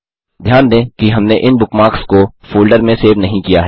ध्यान दें कि हमने इन बुकमार्क्स को फ़ोल्डर में सेव नहीं किया है